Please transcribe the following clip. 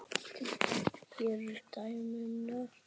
Hér eru dæmi um nokkur